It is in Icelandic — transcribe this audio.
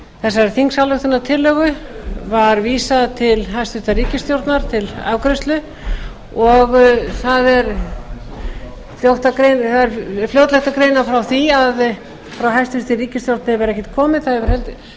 þessari þingsályktunartillögu var vísað til hæstvirtrar ríkisstjórnar til afgreiðslu og það er fljótlegt að greina frá því að frá hæstvirtri ríkisstjórn hefur ekkert komið það